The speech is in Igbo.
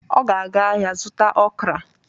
Ọ ga-aga ahịa zụta okra